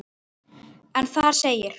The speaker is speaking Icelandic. en þar segir